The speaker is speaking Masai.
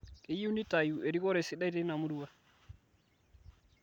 Keyieu neitayu erikore sidai teina murua